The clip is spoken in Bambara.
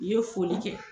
I ye foli kɛ